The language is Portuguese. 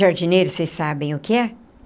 Jardineira, vocês sabem o que é?